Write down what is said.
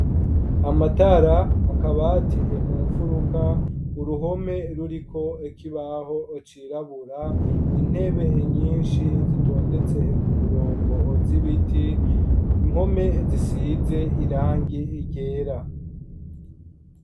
Amatara akaba ateye mu mfuruka uruhome ruriko ikibaho cirabura intebe nyinshi zitondetse ku murongo zibiti mpome zisize irangi ryera.